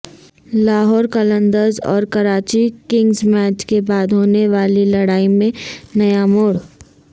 لاہور قلندرز اور Karachi Kings match کے بعد ہونے والی لڑائی میں نیا موڑ